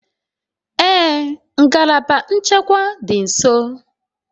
Ee ngalaba nchekwa dị nso